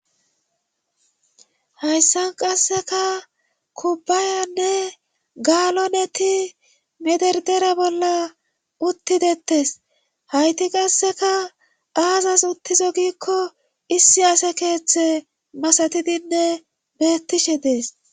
hayssan qasseka kubbaayanne gaaloneti mederdera bolla uttidettes hayti qasseka aazas uttizo giikko issi ase keeththe masatidinne beettishe dees